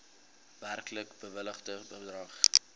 werklik bewilligde bedrag